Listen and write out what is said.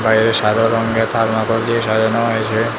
বাইরে সাদা রঙের থার্মোকল দিয়ে সাজানো হয়েছে।